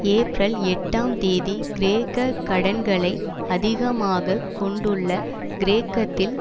April எட்டாம் தேதி கிரேக்க கடன்களை அதிகமாக கொண்டுள்ள கிரேக்கத்தில்